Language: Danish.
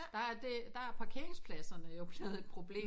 Der er det der er parkeringspladserne jo blevet et problem